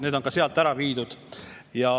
Need on ka sealt ära viidud.